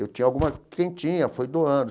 Eu tinha alguma quem tinha foi doando.